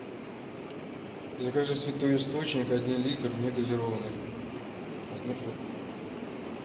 закажи святой источник один литр негазированный одну штуку